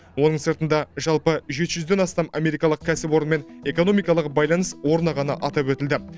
оның сыртында жалпы жеті жүзден астам америкалық кәсіпорынмен экономикалық байланыс орнағаны атап өтілді